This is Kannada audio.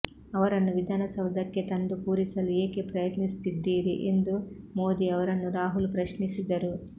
ಅವರನ್ನು ವಿಧಾನಸೌಧಕ್ಕೆ ತಂದು ಕೂರಿಸಲು ಏಕೆ ಪ್ರಯತ್ನಿಸುತ್ತಿದ್ದೀರಿ ಎಂದು ಮೋದಿ ಅವರನ್ನು ರಾಹುಲ್ ಪ್ರಶ್ನಿಸಿದರು